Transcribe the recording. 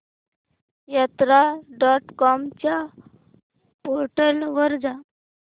यात्रा dot com च्या portal वर जा